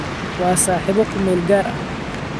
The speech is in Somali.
Waa saaxiibo ku meel gaar ah